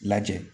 Lajɛ